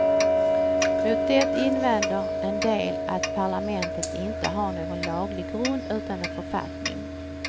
Mot det invänder en del att parlamentet inte har någon laglig grund utan en författning.